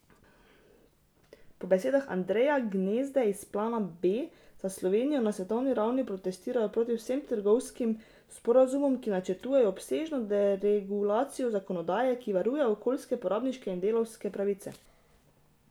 Po besedah Andreja Gnezde iz Plana B za Slovenijo na svetovni ravni protestirajo proti vsem trgovinskim sporazumom, ki načrtujejo obsežno deregulacijo zakonodaje, ki varuje okoljske, porabniške in delavske pravice.